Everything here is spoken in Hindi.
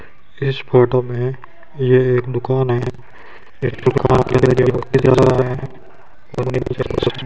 इस फोटो में ये एक दुकान है एक दुकान है ।